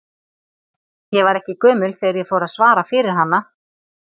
Ég var ekki gömul þegar ég fór að svara fyrir hana.